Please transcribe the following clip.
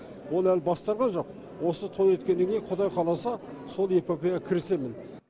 ол әлі басталған жоқ осы той өткеннен кейін құдай қаласа сол эпопеяға кірісемін